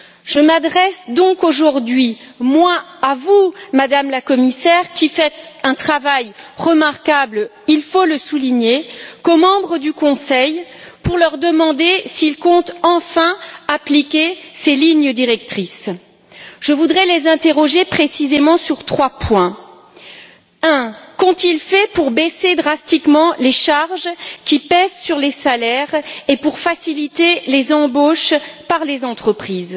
Je m'adresse donc aujourd'hui, moins à vous, Madame la Commissaire, qui faites un travail remarquable, il faut le souligner, qu'aux membres du Conseil pour leur demander s'ils comptent enfin appliquer ces lignes directrices. Je voudrais les interroger précisément sur trois points. Premièrement, qu'ont ils fait pour baisser drastiquement les charges qui pèsent sur les salaires et pour faciliter les embauches par les entreprises?